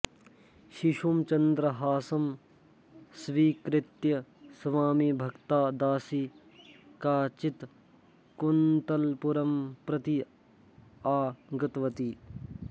शिशुं चन्द्रहासं स्वीकृत्य स्वामिभक्ता दासी काचित् कुन्तलपुरं प्रति आगतवती